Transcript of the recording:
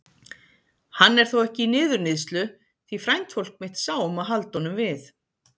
Hann er þó ekki í niðurníðslu því frændfólk mitt sá um að halda honum við.